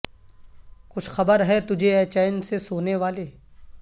کچھ خبر ہے تجھے اے چین سے سونے والے